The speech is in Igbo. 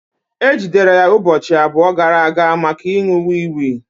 E jidere ya ụbọchị abụọ gara aga maka ịṅụ wii wii